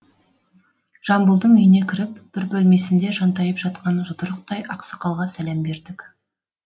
жамбылдың үйіне кіріп бір бөлмесінде жантайып жатқан жұдырықтай ақсақалға сәлем бердік